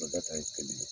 ye kelen ye